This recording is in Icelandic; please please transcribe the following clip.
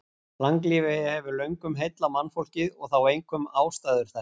Langlífi hefur löngum heillað mannfólkið og þá einkum ástæður þess.